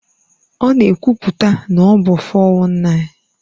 Ọ na-ekwupụta na ọ bụ 419.